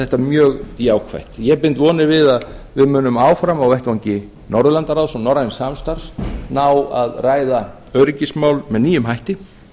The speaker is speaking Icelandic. þetta mjög jákvætt ég bind vonir við að við munum áfram á vettvangi norðurlandaráðs og norræns samstarfs ná að ræða öryggismál með nýjum hætti